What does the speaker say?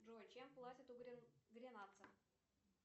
джой чем платят у гренландцев